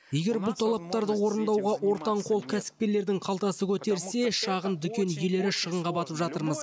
егер бұл талаптарды орындауға ортаңқол кәсіпкерлердің қалтасы көтерсе шағын дүкен иелері шығынға батып жатырмыз